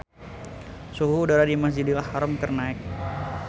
Suhu udara di Masjidil Haram keur naek